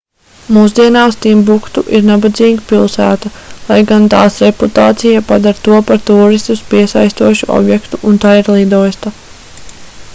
mūsdienās timbuktu ir nabadzīga pilsēta lai gan tās reputācija padara to par tūristus piesaistošu objektu un tai ir lidosta